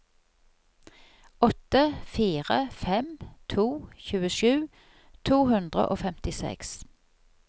åtte fire fem to tjuesju to hundre og femtiseks